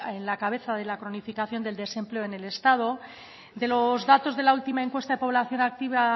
a la cabeza de la cronificación del desempleo en el estado de los datos de la última encuesta de población activa